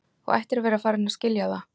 Þú ættir að vera farin að skilja það.